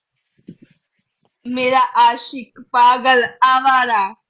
ਮੇਰਾ ਆਸ਼ਿਕ ਪਾਗਲ ਅਵਾਰਾ